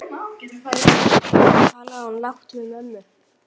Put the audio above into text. Svo talaði hún lágt við mömmu.